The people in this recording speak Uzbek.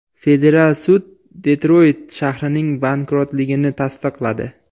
Federal sud Detroyt shahrining bankrotligini tasdiqladi.